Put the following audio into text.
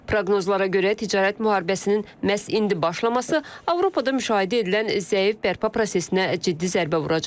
Proqnozlara görə ticarət müharibəsinin məhz indi başlaması Avropada müşahidə edilən zəif bərpa prosesinə ciddi zərbə vuracaq.